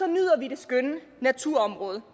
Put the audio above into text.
nyder vi det skønne naturområde